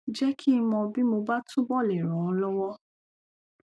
jẹ kí n mọ bí mo bá túbọ lè ràn ọ lọwọ